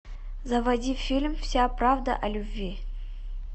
заводи фильм вся правда о любви